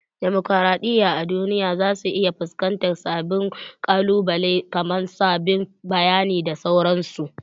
Demokraɗiyya a duniya za su iya fusƙantar sabbin ƙalubalai kaman saɓanin bayani da sauransu